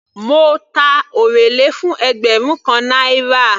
Mo ta orele fún ẹgbẹrun kan náírà.